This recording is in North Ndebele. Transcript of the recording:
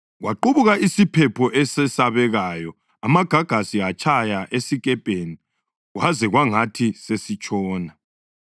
Kwaqubuka isiphepho esesabekayo, amagagasi atshaya esikepeni kwaze kwangathi sesitshona.